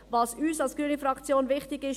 Was uns als grüner Fraktion wichtig ist: